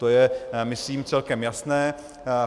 To je myslím celkem jasné.